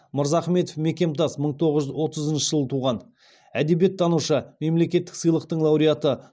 мырзахметұлы мекемтас мың тоғыз жүз отызыншы жылы туған әдебиеттанушы мемлекеттік сыйлықтың лауреаты